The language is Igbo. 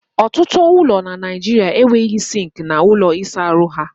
Ọtụtụ ụlọ na Naijiria enweghị sinki na ųlo ịsa ha.